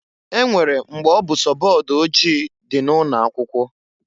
E nwere mgbe ọ bụ sọ board ojii di na ụnọ akwụkwo.